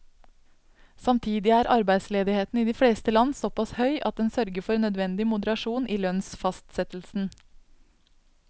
Samtidig er arbeidsledigheten i de fleste land såpass høy at den sørger for nødvendig moderasjon i lønnsfastsettelsen.